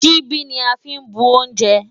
Ṣíbí ni a fí ń bu oúnjẹ.